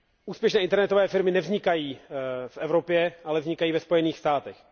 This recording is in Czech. Úspěšné internetové firmy nevznikají v Evropě, ale vznikají ve Spojených státech.